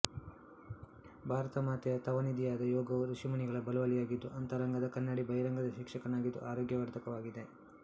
ಭಾರತ ಮಾತೆಯ ತವ ನಿಧಿಯಾದ ಯೋಗವು ಋಷಿಮುನಿಗಳ ಬಳುವಳಿಯಾಗಿದ್ದು ಅಂತರಂಗದ ಕನ್ನಡಿ ಬಹಿರಂಗದ ಶಿಕ್ಷಕನಾಗಿದ್ದು ಆರೋಗ್ಯವರ್ಧಕವಾಗಿದೆ